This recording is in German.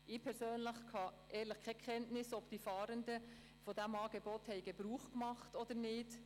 Ich habe keine Kenntnis davon, ob die Fahrenden dieses Angebot genutzt haben oder nicht.